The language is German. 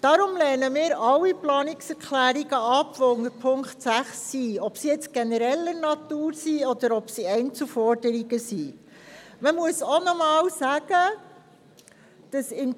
Deshalb lehnen wir alle Planungserklärungen unter der Ziffer 6 ab, egal ob es sich dabei um Planungserklärungen genereller Natur oder um Einzelforderungen handelt.